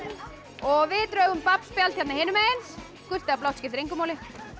og við drögum babbspjald hérna hinum megin gult eða blátt skiptir engu máli